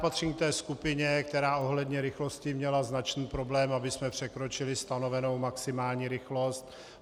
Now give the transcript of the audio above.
Patřím k té skupině, která ohledně rychlosti měla značný problém, abychom překročili stanovenou maximální rychlost.